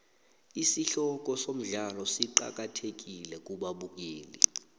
isihloko somdlalo siqakathekile kubabukeli